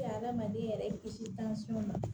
hadamaden yɛrɛ kisi ma